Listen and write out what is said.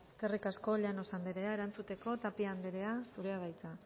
eskerrik asko llanos andrea erantzuteko tapia andrea zurea da hitza